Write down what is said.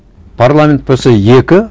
парламент болса екі